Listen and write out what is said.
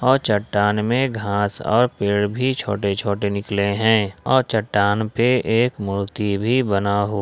और चट्टान में घास और पेड़ भी छोटे छोटे निकले हैं और चट्टान पे एक मूर्ति भी बना हु--